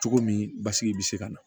Cogo min basigi bɛ se ka na